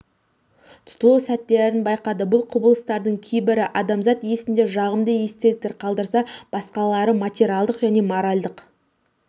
тұтылу сәттерін байқады бұл құбылыстардың кейбірі адамзат есінде жағымды естеліктер қалдырса басқалары материалдық және моральдық